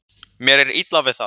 Mér er illa við það.